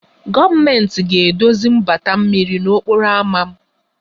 Gọọmentị ga-edozi mgbata mmiri n'okporo ámá